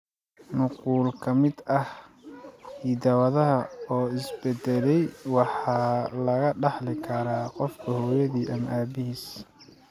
Nuqul ka mid ah hidda-wadaha oo isbedelay waxa laga dhaxli karaa qofka hooyadii ama aabbihiis.